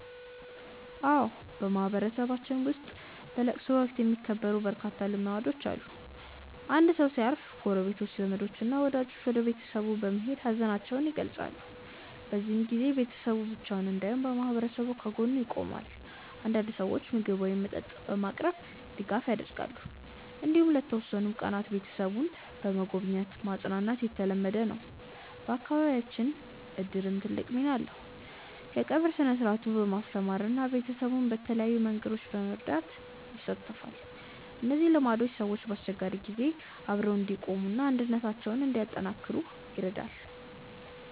አዎ፣ በማህበረሰባችን ውስጥ በለቅሶ ወቅት የሚከበሩ በርካታ ልማዶች አሉ። አንድ ሰው ሲያርፍ ጎረቤቶች፣ ዘመዶች እና ወዳጆች ወደ ቤተሰቡ በመሄድ ሀዘናቸውን ይገልጻሉ። በዚህ ጊዜ ቤተሰቡ ብቻውን እንዳይሆን ማህበረሰቡ ከጎኑ ይቆማል። አንዳንድ ሰዎች ምግብ ወይም መጠጥ በማቅረብ ድጋፍ ያደርጋሉ። እንዲሁም ለተወሰኑ ቀናት ቤተሰቡን በመጎብኘት ማጽናናት የተለመደ ነው። በአካባቢያችን እድርም ትልቅ ሚና አለው፤ የቀብር ሥነ-ሥርዓቱን በማስተባበር እና ቤተሰቡን በተለያዩ መንገዶች በመርዳት ይሳተፋል። እነዚህ ልማዶች ሰዎች በአስቸጋሪ ጊዜ አብረው እንዲቆሙ እና አንድነታቸውን እንዲያጠናክሩ ይረዳሉ።